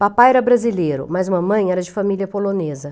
Papai era brasileiro, mas mamãe era de família polonesa.